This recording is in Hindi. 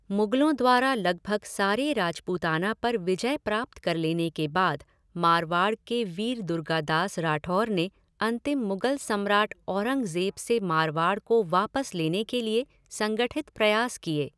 मुगलों द्वारा लगभग सारे राजपूताना पर विजय प्राप्त कर लेने के बाद मारवाड़ के वीर दुर्गादास राठौर ने अंतिम मुगल सम्राट औरंगज़ेब से मारवाड़ को वापस लेने के लिए संगठित प्रयास किए।